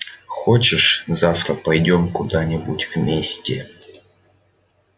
хочешь завтра пойдём куда-нибудь вместе